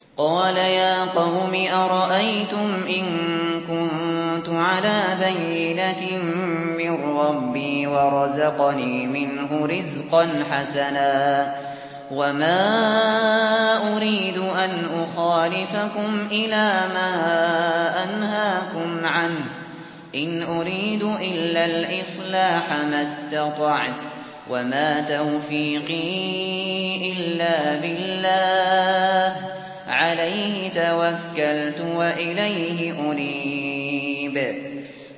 قَالَ يَا قَوْمِ أَرَأَيْتُمْ إِن كُنتُ عَلَىٰ بَيِّنَةٍ مِّن رَّبِّي وَرَزَقَنِي مِنْهُ رِزْقًا حَسَنًا ۚ وَمَا أُرِيدُ أَنْ أُخَالِفَكُمْ إِلَىٰ مَا أَنْهَاكُمْ عَنْهُ ۚ إِنْ أُرِيدُ إِلَّا الْإِصْلَاحَ مَا اسْتَطَعْتُ ۚ وَمَا تَوْفِيقِي إِلَّا بِاللَّهِ ۚ عَلَيْهِ تَوَكَّلْتُ وَإِلَيْهِ أُنِيبُ